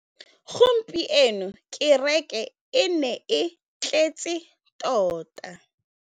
Gompieno kêrêkê e ne e tletse tota.